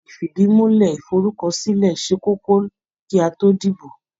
Ifìdìmúlẹ́ iforúkọsílẹ̀ ṣe kókó kí a tó dìbò.